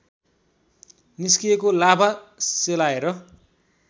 निस्किएको लाभा सेलाएर